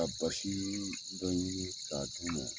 Ka basii dɔ ɲigi k'a d'u ma